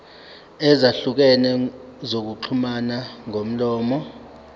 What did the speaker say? ezahlukene zokuxhumana ngomlomo